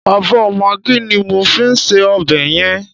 Ààbọ̀ magí ni mo fi sí ọbẹ̀ yẹn.